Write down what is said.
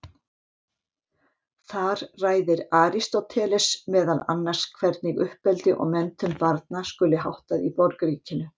Þar ræðir Aristóteles meðal annars hvernig uppeldi og menntun barna skuli háttað í borgríkinu.